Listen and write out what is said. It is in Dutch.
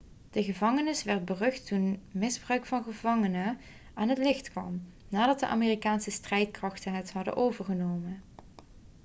de gevangenis werd berucht toen misbruik van gevangenen aan het licht kwam nadat de amerikaanse strijdkrachten het hadden overgenomen